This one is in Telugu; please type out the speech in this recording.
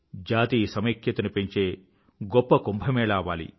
జాతీయ సమైక్యతను పెంచే గొప్ప కుంభ్ అవ్వాలి